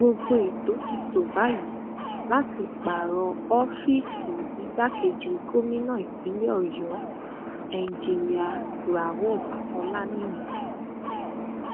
gbogbo ètò ti tó báyìí láti pààrọ ọfíìsì igbákejì gómìnà ìpínlẹ ọyọ enjinia rauf olaniyan